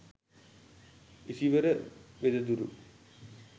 isivara wedaduru